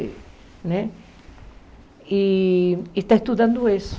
Né e está estudando isso.